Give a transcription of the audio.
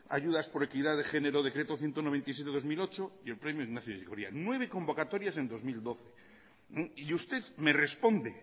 ayudas por equidad de género decreto ciento noventa y siete barra dos mil ocho y el premio ignacio ellacuría nueve convocatorias en dos mil doce y usted me responde